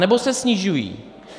Anebo se snižují.